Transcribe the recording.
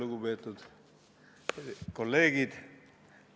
Lugupeetud kolleegid!